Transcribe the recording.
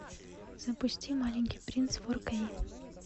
запусти маленький принц фор кей